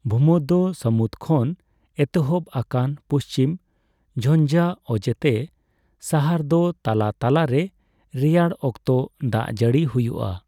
ᱵᱷᱩᱢᱚᱫᱷᱭᱚ ᱥᱟᱹᱢᱩᱫ ᱠᱷᱚᱱ ᱮᱛᱚᱦᱚᱵ ᱟᱠᱟᱱ ᱯᱩᱪᱷᱤᱢ ᱡᱷᱧᱡᱟ ᱚᱡᱮᱛᱮ ᱥᱟᱦᱟᱨᱫᱚ ᱛᱟᱞᱟ ᱛᱟᱞᱟᱨᱮ ᱨᱮᱭᱟᱲᱚᱠᱛᱚ ᱫᱟᱜᱡᱟᱹᱲᱤ ᱦᱩᱭᱩᱜᱼᱟ ᱾